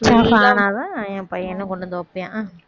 ஆனாதான் என் பையனும் கொண்டு வந்து வைப்பான்